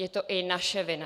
Je to i naše vina.